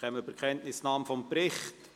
Wir kommen zur Kenntnisnahme des Berichts.